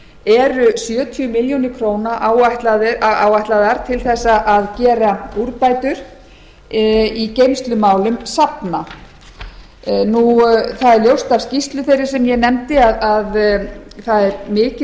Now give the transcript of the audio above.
eru sjötíu milljónum króna áætlaðar til þess að gera úrbætur í geymslumálum safna það er ljóst af skýrslu þeirri sem ég nefndi að það er mikil